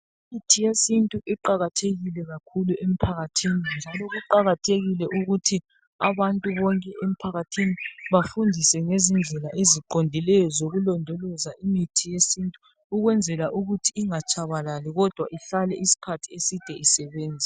Imithi yesintu iqakathekile kakhulu emphakathini njalo kuqakathekile ukuthi abantu bonke emphakathini bafundiswe ngezindlela eziqondileyo zokulodoloza imithi yesintu ukwenzela ukuthi ingatshabalali kodwa ihlale isikhathi eside isebenza